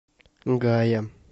гая